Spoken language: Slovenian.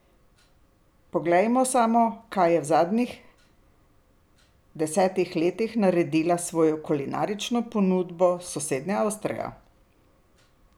Poglejmo samo, kaj je v zadnjih desetih letih naredila s svojo kulinarično ponudbo sosednja Avstrija!